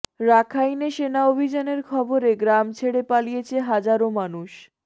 রাখাইনে সেনা অভিযানের খবরে গ্রাম ছেড়ে পালিয়েছে হাজারো মানুষ